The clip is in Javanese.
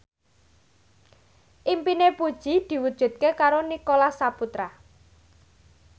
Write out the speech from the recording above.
impine Puji diwujudke karo Nicholas Saputra